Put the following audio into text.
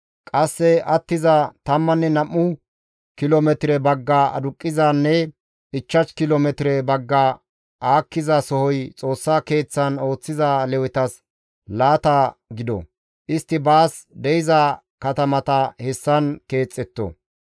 Qasse attiza tammanne nam7u kilo metire bagga aduqqizanne ichchash kilo metire bagga aakkiza sohoy Xoossa Keeththan ooththiza Lewetas laata gido; istti baas de7iza katamata hessan keexxetto.